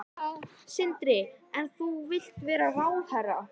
Sindri: En þú vilt vera ráðherra?